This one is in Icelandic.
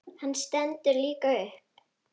Hann stendur líka upp.